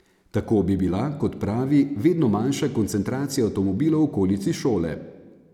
Tako bi bila, kot pravi, vedno manjša koncentracija avtomobilov v okolici šole.